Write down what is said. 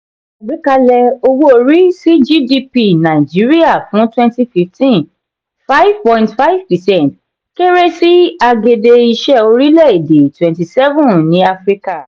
àgbékalẹ̀ owó-orí sí gdp nàìjíríà fún twenty fifteen five point five percent kéré sí agede-iṣe orílè èdè twenty seven ní áfíríkà.